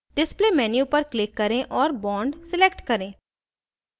display menu पर click करें और bond select करें